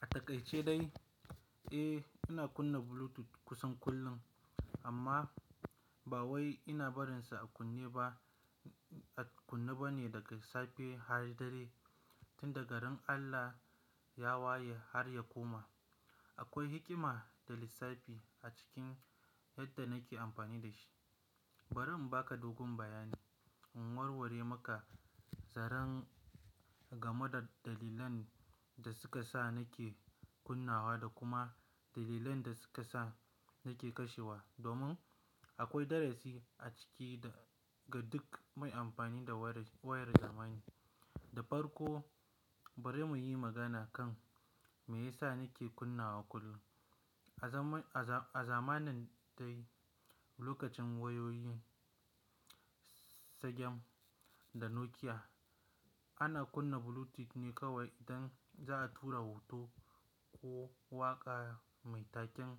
A takaice dai, eh ina kunna Bluetooth kusan kullum amma ba wai ina barinsa a kunne ba, a kunne ba ne daga safe har dare, tun daga ran Allah ya waye har ya koma. Akwai hikima da lissafi a cikin yadda nake amfani da shi. Bari in baka dogon bayani, in warware maka zaren game da dalilan da suka sa nake kunnawa da kuma dalilan da suka sa nake kashewa. Domin akwai darasi a ciki da ga duk mai amfani da wayar zamani. Da farko bari muyi magana kan meyasa nake kunnawa kullum. A zamani dai lokacin wayoyin Sagem da Nokia ana kunna Bluetooth ne kawai idan za'a tura hoto ko waƙa mai taken,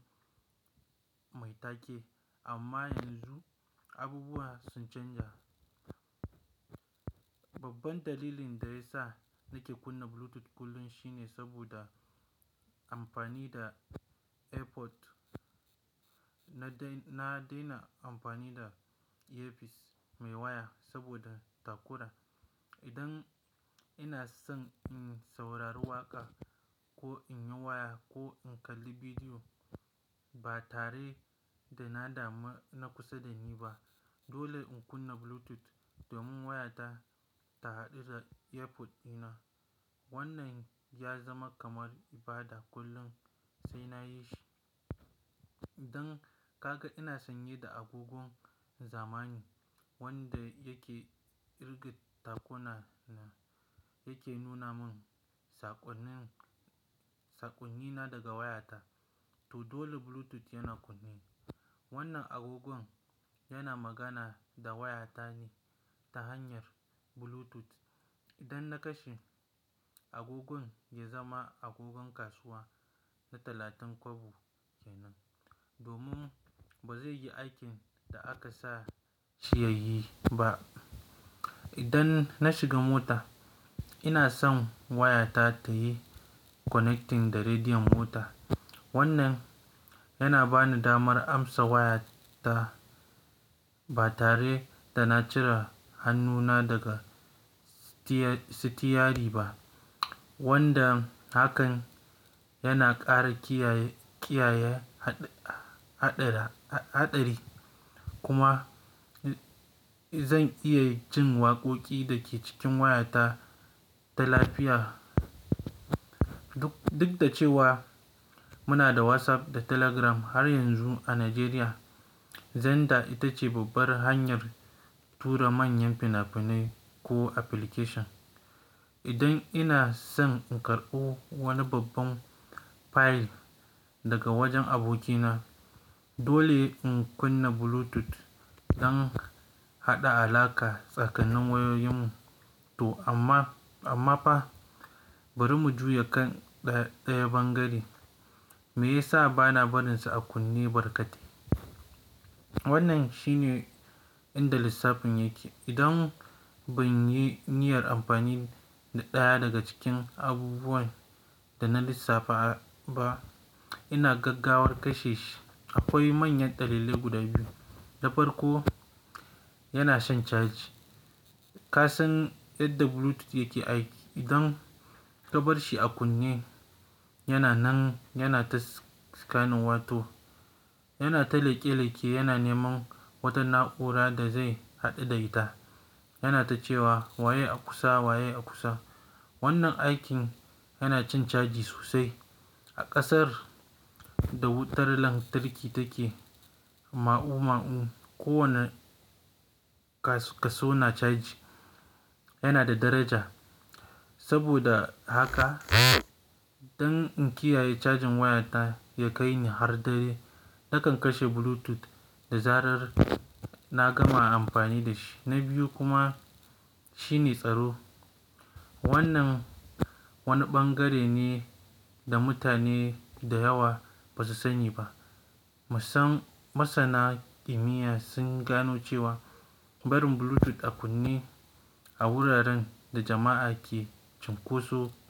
mai take. Amma yanzu abubuwa sun canja. Babban dalilin da ya sa nake kunna Bluetooth kullum shine saboda amfani da AirPod. Na daina amfani da earpiece mai waya saboda takura. Idan ina son in saurari waƙa ko in yi waya ko in kalli bidiyo ba tare da na dama na kusa da ni ba dole in kunna Bluetooth domin wayata ta haɗu da AirPod dina. Wannan ya zama kamar ibada kullum sai na yi shi. Idan ka ga ina sanye da agogon zamani wanda yake kirga takuna na yake nuna mun saƙonnin, saƙonnina daga wayata toh dole Bluetooth yana kunne. Wannan agogon yana magana da wayata ne ta hanyar Bluetooth. Idan na kashe agogon ya zama agogon kasuwa na talatin kwabo kenan domin ba zai yi aikin da aka sa shi ya yi ba. Idan na shiga mota ina son wayata ta yi connecting da rediyon mota. Wannan yana bani damar amsa wayata ba tare da na cire hannuna daga sitiyari ba wanda hakan yana ƙara kiyaye, kiyaye haɗari kuma zan iya jin waƙoƙi da ke cikin wayata ta lafiya. Duk, duk da cewa muna da WhatsApp da Telegram har yanzu a Najeriya, xender ita ce babbar hanyar tura manyan fina-finai ko application. Idan ina son in karɓo wani babban file daga wajen abokina dole in kunna Bluetooth don haɗa alaƙa tsakanin wayoyinmu. To amma, amma fa bari mu juya kan ɗayan ɓangare. Me yasa bana barinsa a kunne barkatai? Wannan shi ne inda lissafin yake. Idan ban yi niyyar amfani da ɗaya daga cikin abubuwan da na lissafa ba ina gaggawar kashe shi. Akwai manyan dalilai guda biyu. Da farko yana shan caji. Ka san yadda Bluetooth yake aiki. Idan ka bar shi a kunne yana nan yana ta scanning wato yana ta leƙe-leƙe yana neman wata na'ura da zai haɗu da ita. Yana ta cewa "waye a kusa? Waye a kusa?" Wannan aikin yana cin caji sosai. A ƙasar da wutar lantarki take ma'u-ma'u kowane kaso na caji yana da daraja. Saboda haka idan in kiyaye cajin wayata ya kai ni har dare nakan kashe Bluetooth da zarar na gama amfani da shi. Na biyu kuma shine tsaro. Wannan wani ɓangare ne da mutane da yawa ba su sani ba. Masan, masana kimiyya sun gano cewa barin Bluetooth a kunne a wuraren da jama'a ke cunkoso.